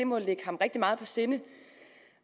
må ligge ham rigtig meget på sinde